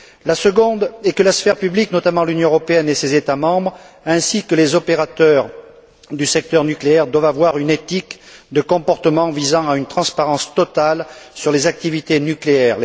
La seconde est que la sphère publique, notamment l'Union européenne et ses États membres, ainsi que les opérateurs du secteur nucléaire, doivent avoir une éthique de comportement visant à une transparence totale sur les activités nucléaires.